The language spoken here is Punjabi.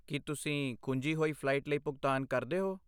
ਕੀ ਤੁਸੀਂ ਖੁੰਝੀ ਹੋਈ ਫਲਾਈਟ ਲਈ ਭੁਗਤਾਨ ਕਰਦੇ ਹੋ?